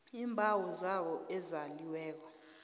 iimbawo zabo ezaliweko